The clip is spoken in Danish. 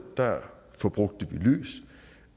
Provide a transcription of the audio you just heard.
forbrugte